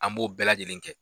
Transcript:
An b'o bɛɛ lajɛlen kɛ.